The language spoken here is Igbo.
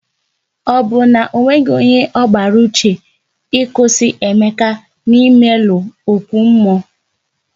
Ọ bụ na onweghi onye ọ gbara n'uche ịkwụsị Emeka na imelu ókwú mmụọ?